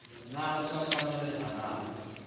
na o sa tshwanelaha na